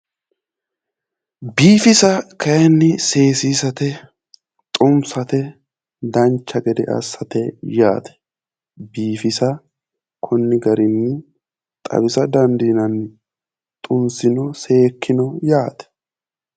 Biifisa kaayiinni seesiisate xunsate dancha gede assate yaate,. biifisa konni garinni xawisa dandiinanni, xunsinoo seekkino yaate.